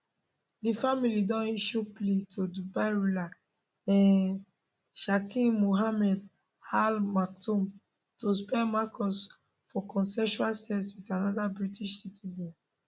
di family don issue plea to dubai ruler hh sheikh mohammed al maktoum to spare marcus for consensual sex wit anoda british citizen